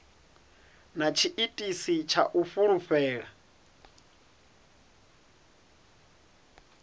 na tshiitisi tsha u fulufhela